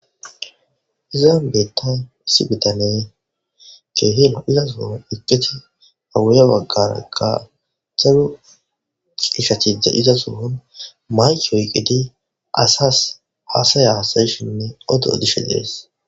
Izan betaya issi bitanee keehil iza suhun iqqiti awuya waggarakka xaru ishachida iza sohun mayki oyqqidi asas aasaya hasayishinne odo dishe dees